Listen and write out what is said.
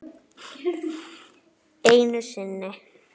Einu sinni.